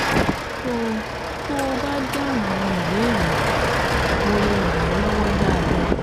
tó tó o bá dáhùn àwọn ìbéèrè yìí, mo lè ràn ẹ́ lọ́wọ́ dáadáa